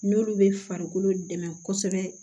N'olu bɛ farikolo dɛmɛ kosɛbɛ